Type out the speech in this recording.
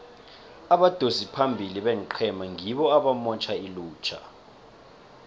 abadosi phambili beenqhema ngibo abamotjha ilutjha